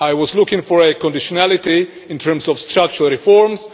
I was looking for a conditionality in terms of structural reforms.